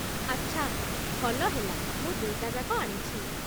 ଆଛା, ଭଲ ହେଲା ମୁଁ ଦୁଇଟା ଯାକ ଆଣିଛି